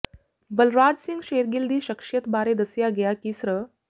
ਬਲਰਾਜ ਸਿੰਘ ਸ਼ੇਰਗਿੱਲ ਦੀ ਸ਼ਖਸ਼ੀਅਤ ਬਾਰੇ ਦੱਸਿਆ ਕਿਹਾ ਕਿ ਸ੍ਰ